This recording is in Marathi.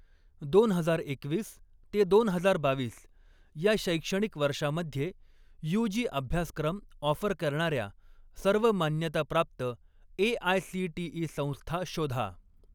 दोन हजार एकवीस ते दोन हजार बावीस या शैक्षणिक वर्षामध्ये यूजी अभ्यासक्रम ऑफर करणाऱ्या सर्व मान्यताप्राप्त ए.आय.सी.टी.ई. संस्था शोधा.